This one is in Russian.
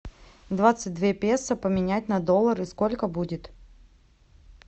двадцать две песо поменять на доллары сколько будет